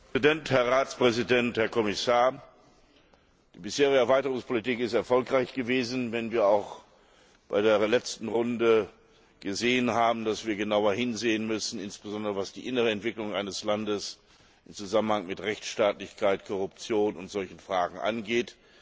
Herr Präsident, Herr Ratspräsident, Herr Kommissar! Die bisherige Erweiterungspolitik ist erfolgreich gewesen, wenn wir auch bei der letzten Runde gesehen haben, dass wir genauer hinsehen müssen, insbesondere was die innere Entwicklung eines Landes im Zusammenhang mit Rechtsstaatlichkeit, Korruption und ähnlichen Fragen angeht.